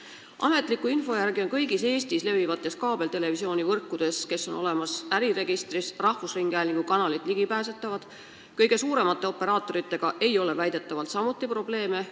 Ametliku info kohaselt on kõigis Eestis äriregistrisse kantud kaabeltelevisioonivõrkudes rahvusringhäälingu kanalid ligipääsetavad, kõige suuremate operaatoritega ei ole väidetavalt samuti probleeme.